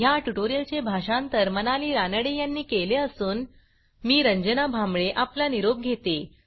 ह्या ट्युटोरियलचे भाषांतर मनाली रानडे यांनी केले असून मी रंजना भांबळे आपला निरोप घेते